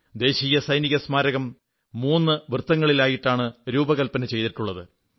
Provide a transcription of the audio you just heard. ദേശീയ സൈനികസ്മാരകം മൂന്നു വൃത്തങ്ങളിലായിട്ടാണ് രൂപകല്പന ചെയ്തിരിക്കുന്നത്